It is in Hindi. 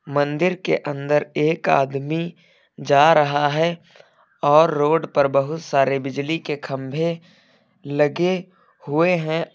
मंदिर के अंदर एक आदमी जा रहा है और रोड पर बहुत सारे बिजली के खंभे लगे हुए हैं।